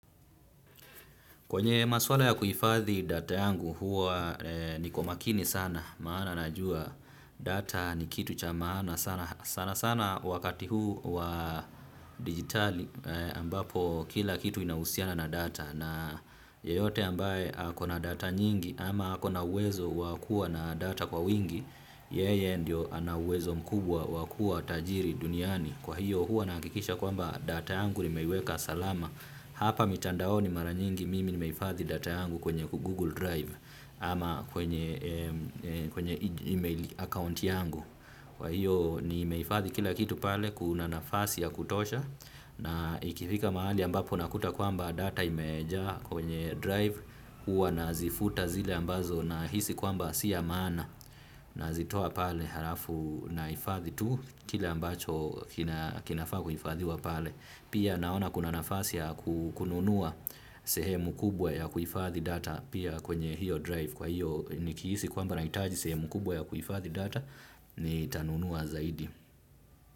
Kwenye maswala ya kuhifadhi data yangu huwa niko makini sana maana najua data ni kitu cha maana sana sana sana wakati huu wa digitali ambapo kila kitu inahusiana na data na yeyote ambaye akona data nyingi ama akona wezo wakua na data kwa wingi yeye ndio ana uwezo mkubwa wakua tajiri duniani kwa hiyo huwa nahakikisha kwamba data yangu nimeiweka salama. Hapa mitandaoni mara nyingi mimi ni mehifadhi data yangu kwenye Google Drive ama kwenye email account yangu. Kwa hiyo ni meifadhi kila kitu pale kuna nafasi ya kutosha na ikifika mahali ambapo nakuta kwamba data imejaa kwenye Drive hua na zifuta zile ambazo na hisi kwamba siya mana na zitoa pale harafu na hifadhi tu kile ambacho kinafaa kuhifadhiwa pale. Pia naona kuna nafasi kukununua sehemu kubwa ya kuifadhi data pia kwenye hiyo drive kwa hiyo nikihisi kwamba nahitaji sehemu kubwa ya kuifadhi data ni tanunua zaidi.